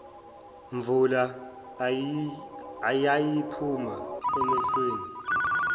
mvula eyayiphuma emehlweni